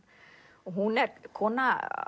og hún er kona